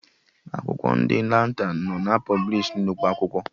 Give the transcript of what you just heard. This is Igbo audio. Akwụkwọ ndị Lantan nọ na pọblishi nnukwu akwụkwọ